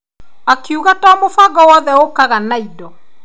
Akiuga to mũbango wothe ũkaga na indo.